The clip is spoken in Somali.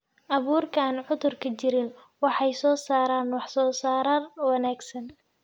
Abuurka aan cudurku jirin waxay soo saaraan wax-soosaar wanaagsan.